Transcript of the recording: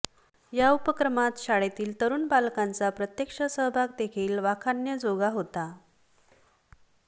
या उपक्रमात शाळेतील तरुण पालकांचा प्रत्यक्ष सहभागदेखील वाखाणण्याजोगा होता